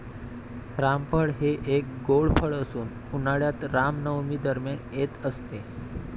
रामफळ हे एक गोड फळ असून उन्हाळ्यात रामनवमी दरम्यान येत असते.